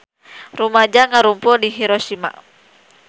Rumaja ngarumpul di Hiroshima